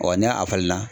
n'a a falenna